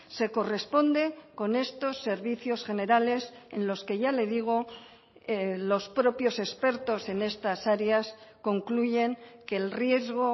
se corresponde con estos servicios generales en los que ya le digo los propios expertos en estas áreas concluyen que el riesgo